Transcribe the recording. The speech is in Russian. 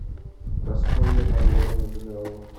прасковья марленовна жигалова